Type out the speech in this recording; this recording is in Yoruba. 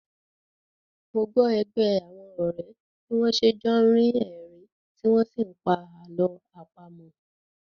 Mo gbọ́ ẹgbẹ́ àwọn ọ̀rẹ́ bí wọ́n n ṣe jọ́ ni rí ẹ̀rín tí wọ́n n sí pa àlọ́ àpamọ́